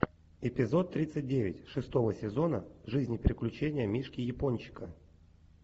эпизод тридцать девять шестого сезона жизнь и приключения мишки япончика